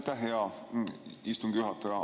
Aitäh, hea istungi juhataja!